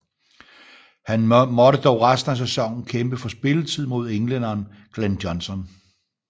Han måtte dog resten af sæsonen kæmpe for spilletid mod englænderen Glen Johnson